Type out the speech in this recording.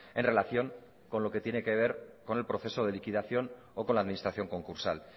en relación con lo que tiene que ver con el proceso de liquidación o con la administración concursal